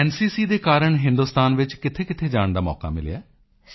NCC ਦੇ ਕਾਰਣ ਹਿੰਦੁਸਤਾਨ ਵਿੱਚ ਕਿੱਥੇਕਿੱਥੇ ਜਾਣ ਦਾ ਮੌਕਾ ਮਿਲਿਆ ਹੈ